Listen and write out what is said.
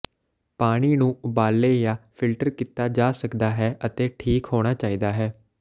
ਪਾਣੀ ਨੂੰ ਉਬਾਲੇ ਜਾਂ ਫਿਲਟਰ ਕੀਤਾ ਜਾ ਸਕਦਾ ਹੈ ਅਤੇ ਠੀਕ ਹੋਣਾ ਚਾਹੀਦਾ ਹੈ